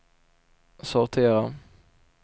sortera